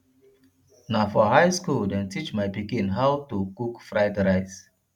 na for high skool dem teach my pikin how do cook fried rice